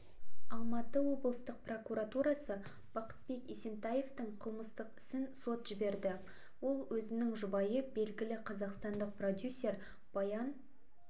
алматы облыстық прокуратурасы бақытбек есентаевтың қылмыстық ісін сот жіберді ол өзінің жұбайы белгілі қазақстандық продюсер баян